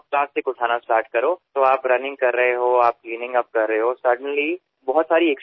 तर जेव्हा आपण सकाळी धावत असता आणि त्याच वेळी आपण स्वच्छता करत असता तेव्हा त्या माध्यमातून आणखी काही व्यायाम प्रकार करू लागता